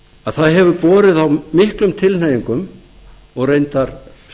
að það hefur borið á miklum tilhneigingum og reyndar